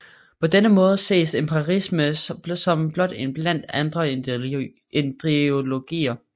På denne måde ses empiricisme som blot én blandt andre ideologier